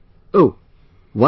O...why not